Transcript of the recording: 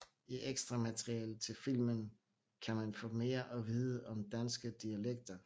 I ekstramaterialet til filmen kan man få mere at vide om danske dialekter